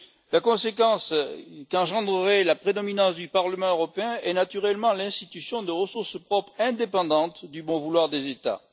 La conséquence qu'engendrerait la prédominance du Parlement européen serait naturellement l'institution de ressources propres indépendantes du bon vouloir des États.